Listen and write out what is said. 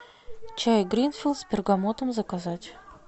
чай гринфилд с бергамотом заказать